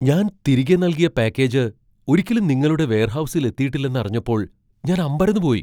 ഞാൻ തിരികെ നൽകിയ പാക്കേജ് ഒരിക്കലും നിങ്ങളുടെ വെയർഹൗസിൽ എത്തിയിട്ടില്ലെന്ന് അറിഞ്ഞപ്പോൾ ഞാൻ അമ്പരന്നുപോയി.